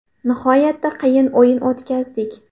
Nihoyatda qiyin o‘yin o‘tkazdik.